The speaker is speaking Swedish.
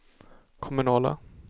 kommunala